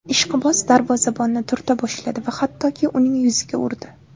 Ishqiboz darvozabonni turta boshladi va hattoki uning yuziga urdi.